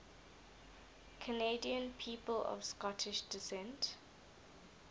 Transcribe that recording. canadian people of scottish descent